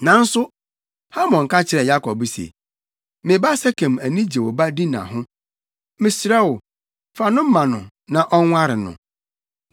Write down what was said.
Nanso Hamor ka kyerɛɛ Yakob se, “Me ba Sekem ani gye wo ba Dina ho. Mesrɛ wo, fa no ma no na ɔnware no.